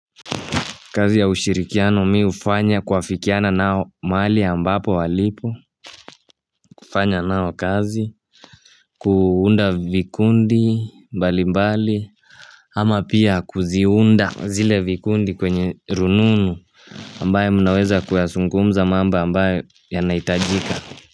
Kazi ya ushirikiano mi ufanya kwafikiana nao mahali ambapo walipo kufanya nao kazi kuunda vikundi mbali mbali Ama pia kuziunda zile vikundi kwenye rununu ambaye munaweza kuyasungumza mambo ambaye yanaitajika.